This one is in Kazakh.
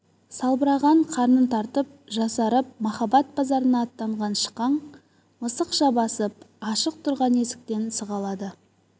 салбыраған қарнын тартып жасарып махаббат базарына аттанған шықаң мысықша басып ашық тұрған есіктен сығалады